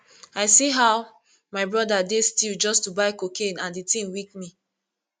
i see how my brother dey still just to buy cocaine and the thing weak me